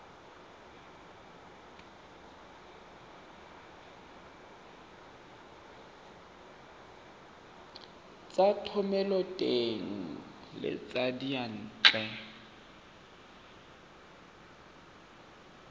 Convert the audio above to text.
tsa thomeloteng le tsa diyantle